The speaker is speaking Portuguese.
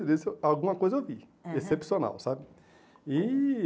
alguma coisa eu vi, é né? excepcional, sabe? E